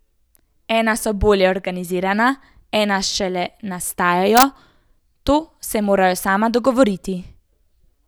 Ena so bolje organizirana, ena šele nastajajo, to se morajo sama dogovoriti.